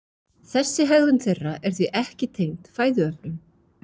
Þessi hegðun þeirra er því ekki tengd fæðuöflun.